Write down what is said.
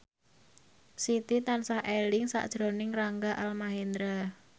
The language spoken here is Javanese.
Siti tansah eling sakjroning Rangga Almahendra